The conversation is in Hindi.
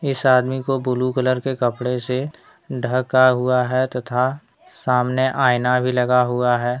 इस आदमी को ब्लू कलर के कपड़े से ढका हुआ है तथा सामने आईना भी लगा हुआ है।